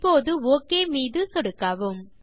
இப்போது ஒக் மீது சொடுக்கவும்